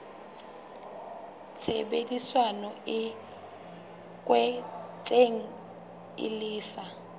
tshebedisano e kwetsweng e lefa